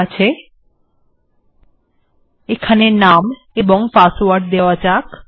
ঠিকআছে এখানে নাম এবং পাসওয়ার্ড দেওয়া যাক